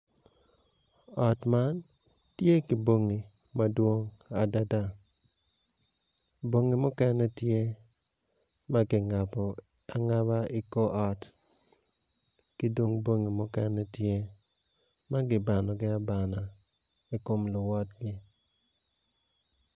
Ot man tye ki bongi madwong adada bongi mukene tye ma kingabo angaba i kor ot ki dong bongi mukene tye ma kibanogi abang ai kom luwotgi.